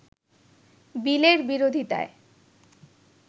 বিলের বিরোধিতায়